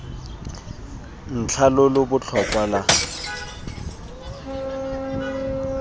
ntlha lo lo botlhokwa lwa